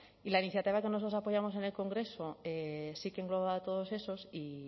y la iniciativa que nosotros apoyamos en el congreso sí que engloba todos esos y